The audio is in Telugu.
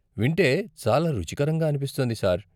వింటే చాలా రుచికరంగా అనిపిస్తోంది సార్.